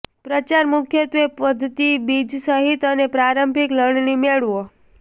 પ્રચાર મુખ્યત્વે પદ્ધતિ બીજ સહિત અને પ્રારંભિક લણણી મેળવો